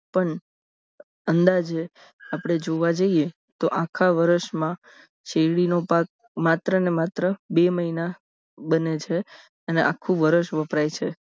પણ અંદાજે આપણે જોવા જઈએ તો આખા વર્ષમાં શેરડીનો પાક માત્ર ને માત્ર બે મહિના બને છે અને આખું વર્ષ વપરાય છે